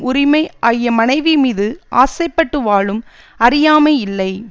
உரிமை ஆகிய மனைவி மீது ஆசைப்பட்டு வாழும் அறியாமை இல்லை